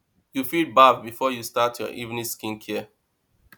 you fit bath before you start your evening skin care